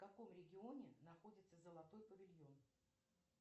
в каком регионе находится золотой павильон